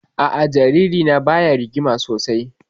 A'a, jaririna baya rigima sosai